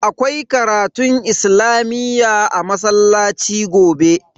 Akwai karatun islamiyyah a masallaci gobe.